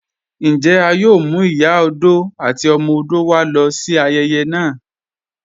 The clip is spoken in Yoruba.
Njẹ́ à yòò mú Ìyà ọdọ̀ àti ọmọ ọdọ̀ wá lọ sí ayèyè naa?